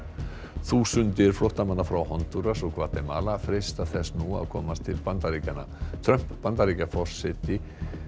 þúsundir flóttamanna frá Hondúras og Gvatemala freista þess nú að komast til Bandaríkjanna Trump Bandaríkjaforseti